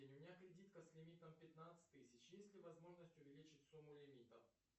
у меня кредитка с лимитом пятнадцать тысяч есть ли возможность увеличить сумму лимита